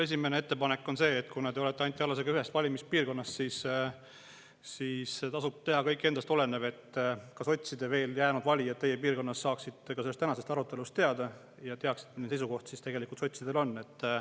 Esimene ettepanek on mul see, et kuna te olete Anti Allasega ühest valimispiirkonnast, siis tasub teha kõik endast olenev, et sotsidele veel jäänud valijad teie piirkonnas saaksid ka sellest tänasest arutelust teada ja teaksid, milline seisukoht tegelikult sotsidel on.